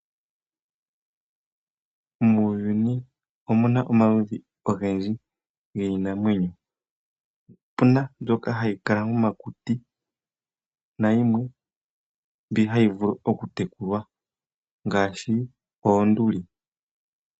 Muuyuni omu na omaludhi ogendji giinamwenyo. Opu na mbyoka hayi kala momakuti nayimwe mbi hayi vulu okutekulwa ngaashi oonduli.